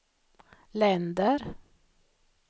länder